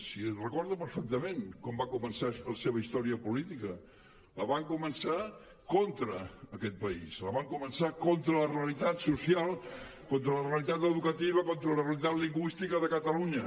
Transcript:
si recordo perfectament com va començar la seva història política la van començar contra aquest país la van començar contra la realitat social contra la realitat educativa contra la realitat lingüística de catalunya